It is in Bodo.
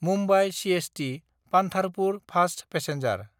Mumbai सिएसटि–पान्धारपुर fast passenger